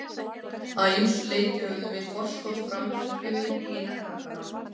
Að ýmsu leyti höfðum við forskot fram yfir hina krakkana.